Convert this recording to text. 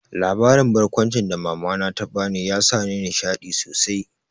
Labarin barkwancin da mama na ta bani ya sa ni nishaɗi sosai